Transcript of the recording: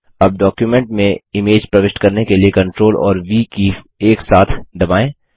अब डॉक्युमेंट में इमेज प्रविष्ट करने के लिए CTRL और व कीज़ एक साथ दबाएँ